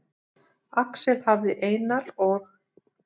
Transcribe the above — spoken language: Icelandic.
Axel hafði Einar og